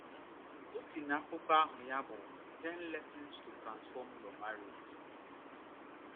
O si n’akwụkwọ aha ya bụ Ten Lessons to Transform Your Marriage.